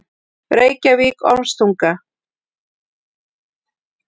Reykjavík: Ormstunga.